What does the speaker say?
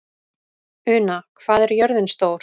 Una, hvað er jörðin stór?